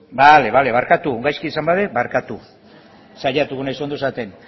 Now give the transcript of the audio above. beno bale bale barkatu gaizki esan badut barkatu saiatuko naiz ondo esaten